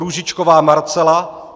Růžičková Marcela